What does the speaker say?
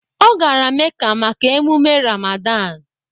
Ọ gara Meca maka ememe Ramadan